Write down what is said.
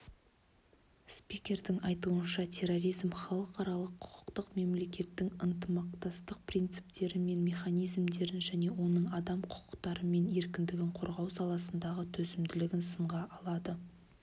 спикердің айтуынша терроризм халықаралық құқықты мемлекеттің ынтымақтастық принциптері мен механизмдерін және оның адам құқықтары мен еркіндігін қорғау саласындағы төзімділігін сынға алады